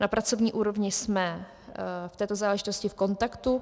Na pracovní úrovni jsme v této záležitosti v kontaktu.